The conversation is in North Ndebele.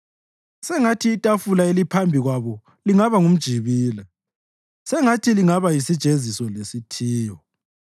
Sengathi itafula eliphambi kwabo lingaba ngumjibila; sengathi lingaba yisijeziso lesithiyo.